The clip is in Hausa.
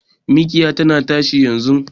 Mikiya tana tashi yanzun